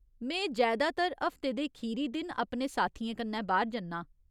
में जैदातर हफ्ते दे खीरी दिन अपने साथियें कन्नै बाह्‌र जन्नां।